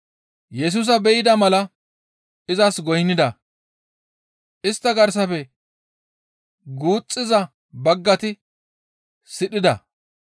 Yesusa be7ida mala izas goynnida; istta garsafe guuxxiza baggati sidhida.